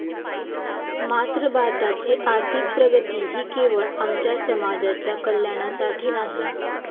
मात्र भारताची आर्थिक प्रगती ही केवळ आमच्या समाजाच्या कल्याणासाठी नाही.